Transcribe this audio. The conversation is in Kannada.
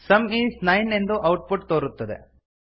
ಸಮ್ ಈಸ್ ನೈನ್ ಎಂದು ಔಟ್ ಪುಟ್ ತೋರುತ್ತದೆ